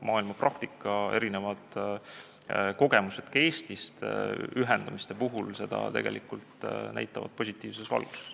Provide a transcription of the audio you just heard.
Maailmapraktika ja ka Eesti kogemused ühendamiste puhul on seda näidanud positiivses valguses.